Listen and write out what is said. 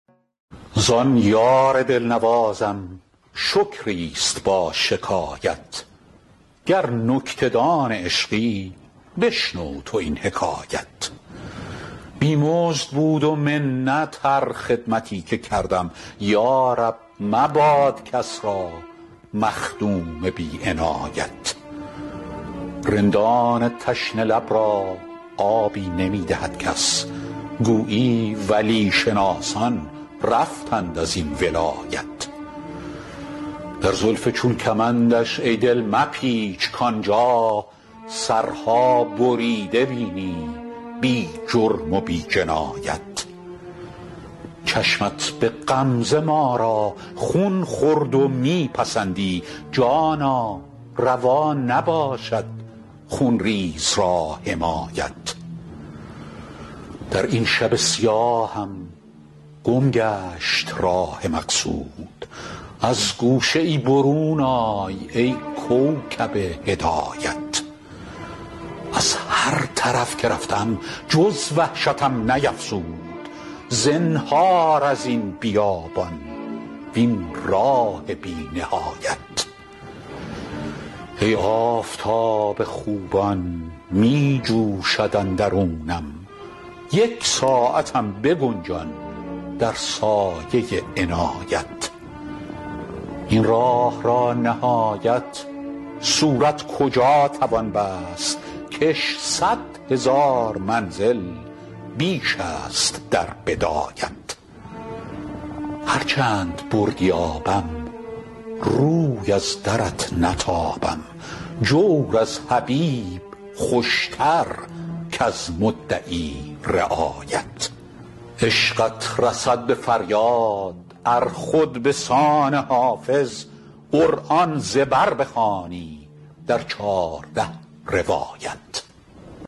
زان یار دل نوازم شکری است با شکایت گر نکته دان عشقی بشنو تو این حکایت بی مزد بود و منت هر خدمتی که کردم یا رب مباد کس را مخدوم بی عنایت رندان تشنه لب را آبی نمی دهد کس گویی ولی شناسان رفتند از این ولایت در زلف چون کمندش ای دل مپیچ کآن جا سرها بریده بینی بی جرم و بی جنایت چشمت به غمزه ما را خون خورد و می پسندی جانا روا نباشد خون ریز را حمایت در این شب سیاهم گم گشت راه مقصود از گوشه ای برون آی ای کوکب هدایت از هر طرف که رفتم جز وحشتم نیفزود زنهار از این بیابان وین راه بی نهایت ای آفتاب خوبان می جوشد اندرونم یک ساعتم بگنجان در سایه عنایت این راه را نهایت صورت کجا توان بست کش صد هزار منزل بیش است در بدایت هر چند بردی آبم روی از درت نتابم جور از حبیب خوش تر کز مدعی رعایت عشقت رسد به فریاد ار خود به سان حافظ قرآن ز بر بخوانی در چارده روایت